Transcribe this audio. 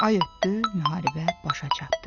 Ay ötdü, müharibə başa çatdı.